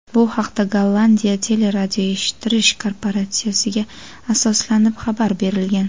Bu haqda Gollandiya teleradioeshittirish korporatsiyasiga asoslanib xabar berilgan.